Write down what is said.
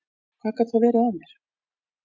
Hvað gat þá verið að mér?